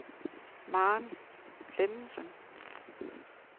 Maren Klemmensen